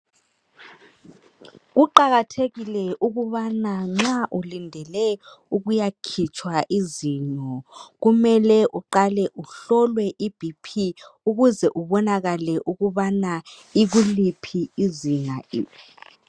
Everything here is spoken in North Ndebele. Kuqakathekile ukubana nxa ulindele ukuyakhitshwa izinyo, kumele uqale uhlolwe iBP ukuze ubonakale ukubana ikuliphi izinga.